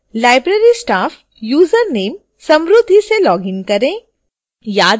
library staff username samruddhi से login करें